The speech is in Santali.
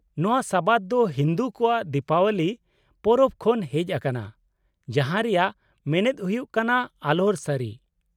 -ᱱᱚᱶᱟ ᱥᱟᱵᱟᱫ ᱫᱚ ᱦᱤᱱᱫᱩ ᱠᱚᱣᱟᱜ ᱫᱤᱯᱟᱵᱚᱞᱤ ᱯᱚᱨᱚᱵ ᱠᱷᱚᱱ ᱦᱮᱪ ᱟᱠᱟᱱᱟ, ᱡᱟᱦᱟᱸ ᱨᱮᱭᱟᱜ ᱢᱮᱱᱮᱫ ᱦᱩᱭᱩᱜ ᱠᱟᱱᱟ 'ᱟᱞᱳᱨ ᱥᱟᱹᱨᱤ' ᱾